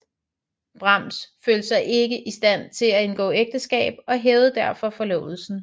Brahms følte sig ikke i stand til at indgå ægteskab og hævede derfor forlovelsen